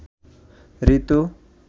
ঋতু